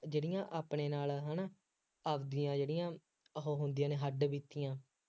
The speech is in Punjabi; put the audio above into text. ਜਿਹੜੀਆਂ ਆਪਣੇ ਨਾਲ ਹੈ ਨਾ, ਆਪਦੀਆਂ ਜਿਹੜੀਆਂ ਉਹ ਹੁੰਦੀਆਂ ਨੇ, ਹੱਡ-ਬੀਤੀਆਂ